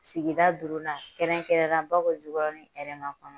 Sigida duurunan kɛrɛnkɛrɛnna Bakɔ Jikɔrɔni Hɛrɛmakɔnɔ